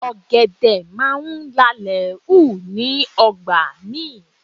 Ọ̀gẹ̀dẹ̀ máa ń lalẹ̀ hù ní ọgbà mi